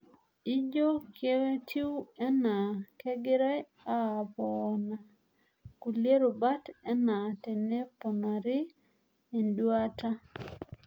Ijo ketiw ana kegirae apoona kulie rubat ana teneponari enduata.